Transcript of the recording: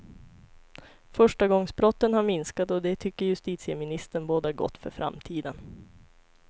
Förstagångsbrotten har minskat och det tycker justitieministern bådar gott för framtiden.